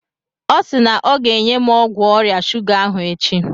Ọ si na ọ ga-enye m ọgwụ ọrịa shuga ahụ echi.